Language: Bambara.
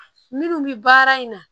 Minnu bɛ baara in na